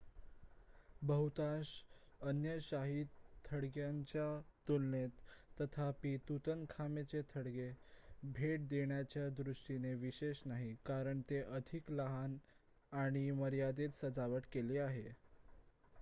बहुतांश अन्य शाही थडग्यांच्या तुलनेत तथापि तुतनखामेनचे थडगे भेट देण्याच्या दृष्टिने विशेष नाही कारण ते अधिक लहान आणि मर्यादित सजावट केलेले आहे